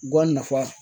Guwan nafan